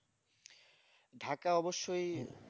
Dhaka অবস্যই